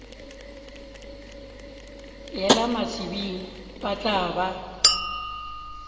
yela batsebing ba tla ba